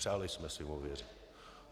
Přáli jsme si mu věřit.